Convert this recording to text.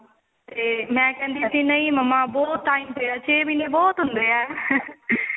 ਤੇ ਮੇ ਕਹਿੰਦੀ ਸੀ ਨਹੀਂ mamma ਬਹੁਤ time ਪਿਆ ਛੇ ਮਹੀਨੇ ਬਹੁਤ ਹੁੰਦੇ ਏ